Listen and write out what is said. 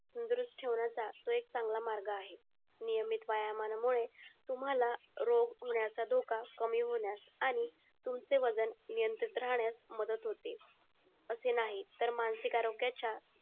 द्रुष्ट तो एक चांगला मार्गे आहे नियमित व्यायामानामुळे तुम्हाला रोज रोग होण्याचा धोका कमी होण्यास आणि तुमचे वजन नियंत्रित राहण्यास मदत होते असे नाही तर मानसिक आरोग्याचा